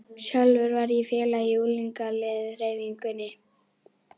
Sjálfur var ég félagi í ungliðahreyfingunni.